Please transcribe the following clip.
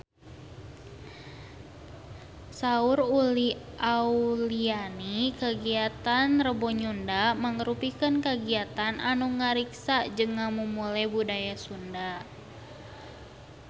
Saur Uli Auliani kagiatan Rebo Nyunda mangrupikeun kagiatan anu ngariksa jeung ngamumule budaya Sunda